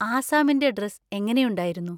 ആസ്സാമിന്‍റെ dress എങ്ങനെയുണ്ടായിരുന്നു?